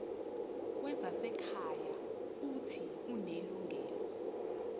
wezasekhaya uuthi unelungelo